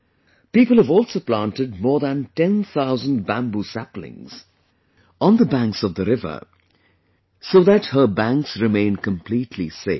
People have also planted more than 10 thousand bamboo saplingson the banks of the river, so that her banks remain completely safe